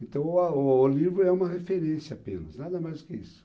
Então, o ah o livro é uma referência apenas, nada mais que isso.